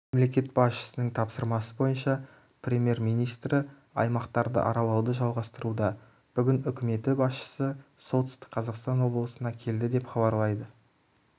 мемлекет басшысының тапсырмасы бойынша премьер-министрі аймақтарды аралауды жалғастыруда бүгін үкіметі басшысысолтүстік қазақстан облысына келді деп хабарлайды